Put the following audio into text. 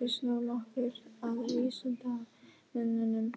við snúum okkur að vísindamönnunum